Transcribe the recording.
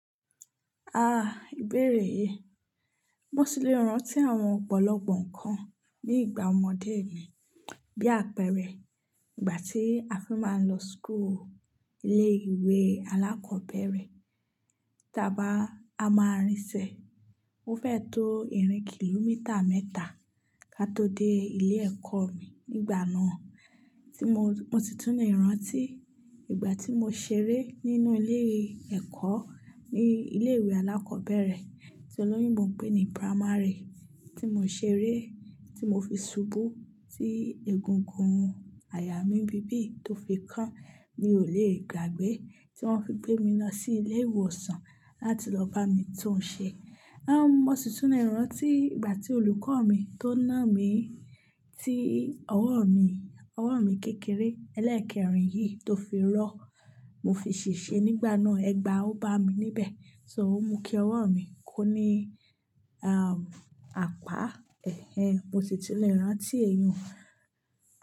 Ah ibere yi, mo si le ran ti àwọn ọ̀pọ̀lọpọ̀ nǹkan ní ìgbà ọmọdé mi. Bí àpẹẹrẹ ìgbà tí a fi máa ń lọ school ilé ìwé alákọ̀ọ́bẹ̀rẹ̀, tí a bá a máa rìn sẹ, ó fẹ tó ìrìn kìlómítà mẹ́ta ká tó dé ilé ẹ̀kọ́ mi nígbà náà. Tí mo, mo si tún le rántí ìgbà tí mo ṣeré nínú ilé ẹ̀kọ́ ní ilé ìwé alákọ́bẹ̀rẹ̀ tí olóyinbo n pé ní primary tí mo ṣeré, tí mo fi ṣubú tí egungun àyà mí nbí bí tó fi kan, mi ò lè gbàgbé tí wọ́n fi gbé mi lọ sí ilé ìwòsàn láti lọ bá mi tun ṣe. Mo si tún le rántí ìgbà tí olùkọ́ mi tó nà mí tí ọwọ́ mi, ọwọ́ mi kékeré ẹlẹ́ẹ̀kẹ́rìn yìí tó fi rọ́, mo fi ṣèṣe nígbà náà. Ẹgba ó bá mi níbẹ̀, so o mú kí ọwọ́ mi kó ní àpá. Ẹ̀hẹn, mo si tún le rántí èmi i.